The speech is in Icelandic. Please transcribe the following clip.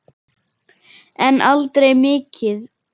En aldrei mikið.